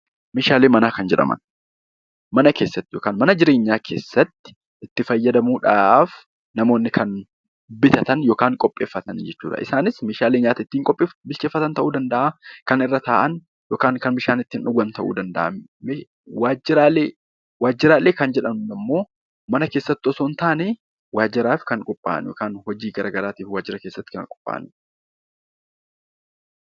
Meeshaalee manaa kan jedhaman Meeshaalee mana keessatti itti fayyadamuudhaaf namoonni kan bitatan yookaan qopheeffatanidha. Isaanis Meeshaalee nyaata ittiin bilcheeffatan ta'uu danda'a, kan irra taa'an, kan bishaan ittiin dhuguu danda'an ta'uu danda'a. Waajiraalee Waajiraalee kan jedhamu immoo mana keessatti osoo hin taane, waajiraaf kan qophaa'an hojii garaagaraatiif waajira keessatti kan qophaa'anidha.